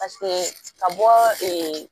Paseke ka bɔ ee